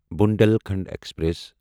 Bundelkhand express